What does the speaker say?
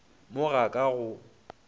mo ga ka ga go